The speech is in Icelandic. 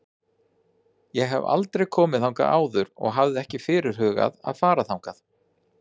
Ég hef aldrei komið þangað áður og hafði ekki fyrirhugað að fara þangað.